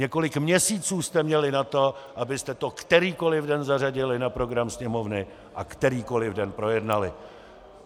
Několik měsíců jste měli na to, abyste to kterýkoli den zařadili na program Sněmovny a kterýkoli den projednali.